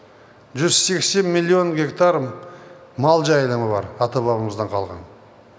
жүз сексен миллион гектар мал жайылымы бар ата бабамыздан қалған